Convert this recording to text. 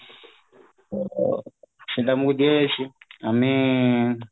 ଅ ସେଟା ଆମକୁ ଦିଆଯାଇଛି ମାନେ